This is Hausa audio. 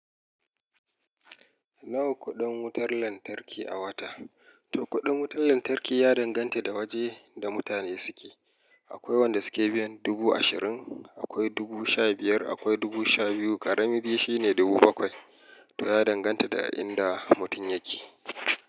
Nawa kuɗin wutar lantarki a wata? To kuɗin wutar lantarki ya danganta da waje da mutane suke. Akwai wanda suke biyan dubu ashirin, akwai dubu sha biyar, akwai dubu sha biyu, ƙarami biyu shine dubu bakwai. To ya danganta da inda mutum yake.